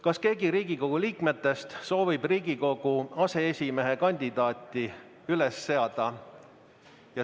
Kas keegi Riigikogu liikmetest soovib Riigikogu aseesimehe kandidaati üles seada?